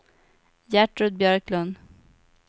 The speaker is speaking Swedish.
Gertrud Björklund